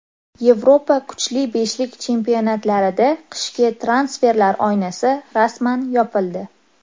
Yevropa kuchli beshlik chempionatlarida qishki transferlar oynasi rasman yopildi.